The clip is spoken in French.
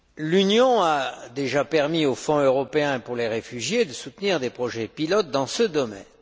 L'Union a déjà permis au Fonds européen pour les réfugiés de soutenir des projets pilotes dans ce domaine.